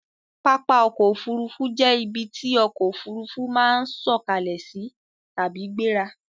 Pápá ọkọ̀ Òfurufú jẹ́ ibi tí ọkọ̀ òfuurufú máa ń sọ̀kalẹ̀ sí tàbí gbéra